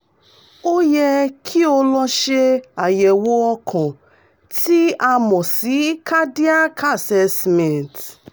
ó yẹ kí o lọ ṣe àyẹ̀wò ọkàn tí a mọ̀ sí cardiac assessment